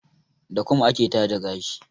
Da kum ake taje gashi.